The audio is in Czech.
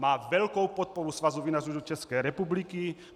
Má velkou podporu Svazu vinařů České republiky.